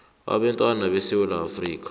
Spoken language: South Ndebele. ebantwini besewula afrika